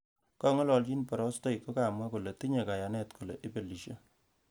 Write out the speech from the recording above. Kongalalchin borostoik kokamwa kole tinyei kayanet kole ibelisie